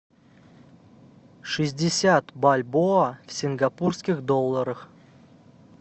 шестьдесят бальбоа в сингапурских долларах